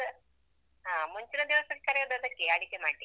ಹಾ ಮುಂಚಿನ ದಿವಸವೆ ಕರೆವುದು ಅದಕ್ಕೆಯೇ ಅಡಿಗೆ ಮಾಡ್ಲಿಕ್ಕೆ.